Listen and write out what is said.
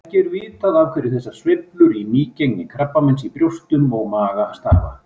Ekki er vitað af hverju þessar sveiflur í nýgengi krabbameins í brjóstum og maga stafa.